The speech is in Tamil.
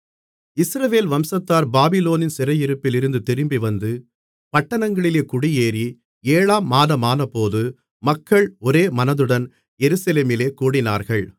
இஸ்ரவேல் வம்சத்தார் பாபிலோனின் சிறையிருப்பிலிருந்து திரும்பி வந்து பட்டணங்களிலே குடியேறி ஏழாம் மாதமானபோது மக்கள் ஒரேமனதுடன் எருசலேமிலே கூடினார்கள்